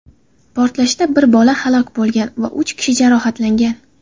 portlashda bir bola halok bo‘lgan va uch kishi jarohatlangan.